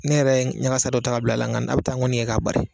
Ne yɛrɛ ɲagasa dɔ ta ka bila nka n'a bɛ n ta kɔni ye ka bari.